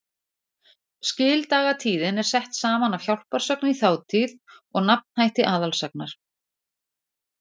Skildagatíðin er sett saman af hjálparsögn í þátíð og nafnhætti aðalsagnar.